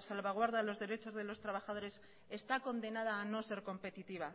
salvaguarda los derechos de los trabajadores está condenada a no ser competitiva